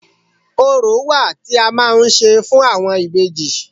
Orò wà tí a máa ń ṣe fún àwọn ìbejì